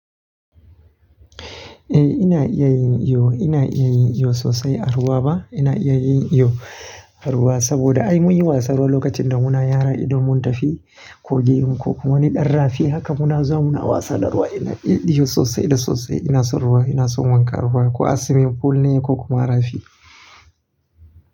Eh ina iya yin iyo, ina iya yin iyo sosai. A ruwa ba ina iya yin iyo a ruwa saboda ai mun yi wasa ruwa lokacin da muna yara idan mun tafi kogin ko wani danrrafi haka muna zuwa muna wasa da ruwa. Ina iya iyo sosai da sosai. Ina son ruwa, ina son wanka a ruwa ko a swimming pool ne ko kuma a rafi.